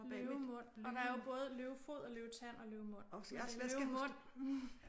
Løvemund og der er jo både løvefod og løvetand og løvemund men det er løvemund